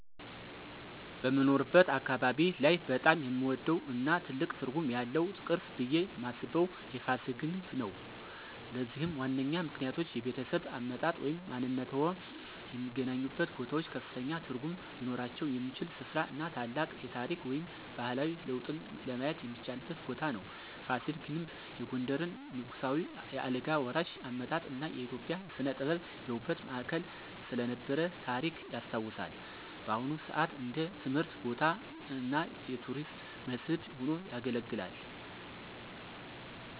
በምኖርበት አካባቢ ላይ በጣም የምወደው እና ትልቅ ትርጉም ያለው ቅርስ ብየ ማስበው የፋሲል ግንብ ነው። ለዚህም ዋነኛ ምክንያቶች -የቤተሰብ አመጣጥ ወይም ማንነትዎ የሚገናኙበት ቦታዎች ከፍተኛ ትርጉም ሊኖራቸው የሚችል ሥፍራ እና ታላቅ የታሪክ ወይም ባህላዊ ለውጥን ለማየት የሚቻልበት ቦታ ነው። ፋሲል ግንብ የጎንደርን ንጉሳዊ የአልጋ ወራሽ አመጣጥ እና የኢትዮጵያ ሥነ-ጥበብ የውበት ማዕከል ስለነበረ ታሪክ ያስታውሳል። በአሁን ሰአት እንደ ትምህርት ቦታ እና የቱሪስት መስህብ ሆኖ ያገለግላል።